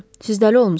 Siz dəli olmusunuz?